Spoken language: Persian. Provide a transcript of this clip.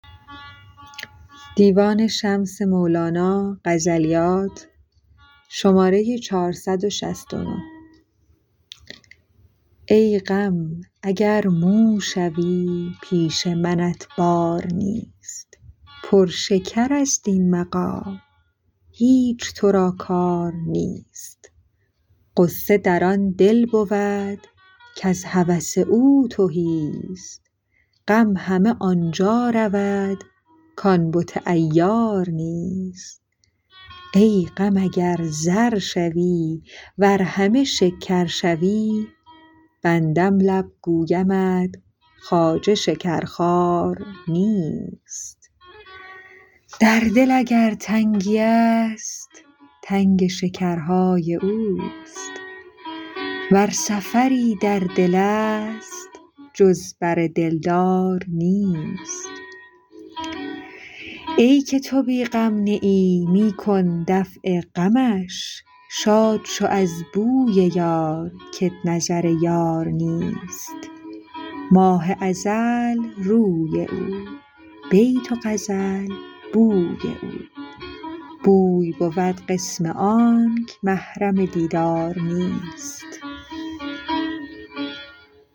ای غم اگر مو شوی پیش منت بار نیست پر شکرست این مقام هیچ تو را کار نیست غصه در آن دل بود کز هوس او تهیست غم همه آن جا رود کان بت عیار نیست ای غم اگر زر شوی ور همه شکر شوی بندم لب گویمت خواجه شکرخوار نیست در دل اگر تنگیست تنگ شکرهای اوست ور سفری در دلست جز بر دلدار نیست ای که تو بی غم نه ای می کن دفع غمش شاد شو از بوی یار کت نظر یار نیست ماه ازل روی او بیت و غزل بوی او بوی بود قسم آنک محرم دیدار نیست